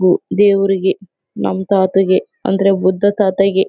ಹೂ ದೇವ್ರಿಗೆ ನಮ್ ತಾತಂಗೆ ಅಂದ್ರೆ ಬುದ್ಧ ತಾತಂಗೆ--